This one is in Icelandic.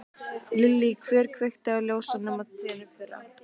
Lillý: Hver kveikti á ljósunum á trénu í fyrra?